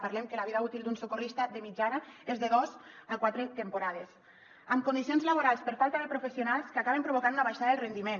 parlem que la vida útil d’un socorrista de mitjana és de dos a quatre temporades amb condicions laborals per falta de professionals que acaben provocant una baixada del rendiment